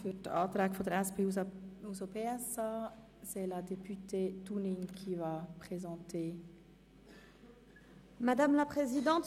Für die Anträge der SP-JUSO-PSA spricht Grossrätin Dunning.